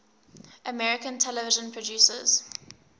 american television producers